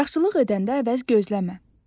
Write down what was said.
Yaxşılıq edəndə əvəz gözləmə.